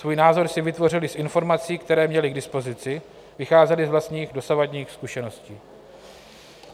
Svůj názor si vytvořili z informací, které měli k dispozici, vycházeli z vlastních dosavadních zkušeností.